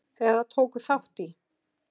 eða tóku þátt í.